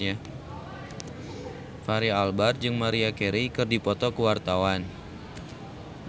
Fachri Albar jeung Maria Carey keur dipoto ku wartawan